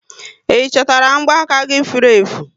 Ị chọtara mgba aka gị furu efu?